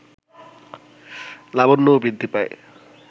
লাবণ্যও বৃদ্ধি পায়